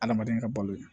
Adamaden ka balo ye